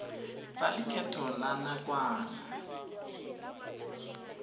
tsa lekgetho la nakwana di